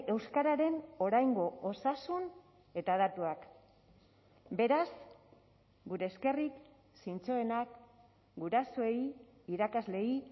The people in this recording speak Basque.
euskararen oraingo osasun eta datuak beraz gure eskerrik zintzoenak gurasoei irakasleei